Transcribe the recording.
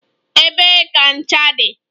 Ebee ka ncha dị?